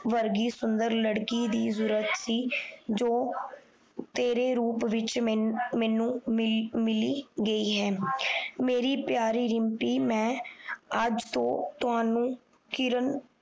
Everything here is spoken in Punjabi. ਵਰਗੀ ਸੁੰਦਰ ਲੜਕੀ ਦੀ ਜਰੂਰਤ ਸੀ ਜੋ ਤੇਰੇ ਰੂਪ ਵਿੱਚ ਮੈਨੂੰ ਮਿਲੀ ਗਈ ਹੈ ਮੇਰੀ ਪਿਆਰੀ ਰਿਮਪੀ ਮੈਂ ਅੱਜ ਤੋਂ ਤੁਹਾਨੂੰ ਕਿਰਨ